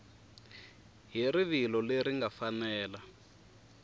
hi rivilo leri nga fanela